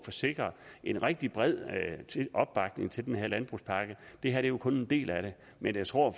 få sikret en rigtig bred opbakning til den her landbrugspakke det her er jo kun en del af det men jeg tror at